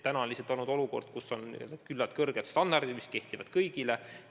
Praegu on olukord, kus kehtivad küllaltki kõrged standardid, mis kehtivad kõigile.